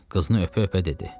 Qızını öpə-öpə dedi: